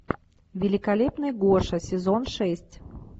великолепный гоша сезон шесть